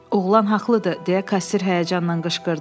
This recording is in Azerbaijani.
Oğlan haqlıdır, deyə kassir həyəcanla qışqırdı.